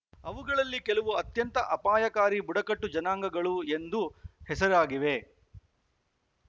ಅವುಗಳಲ್ಲಿ ಕೆಲವು ಅತ್ಯಂತ ಅಪಾಯಕಾರಿ ಬುಡಕಟ್ಟು ಜನಾಂಗಗಳು ಎಂದು ಹೆಸರಾಗಿವೆ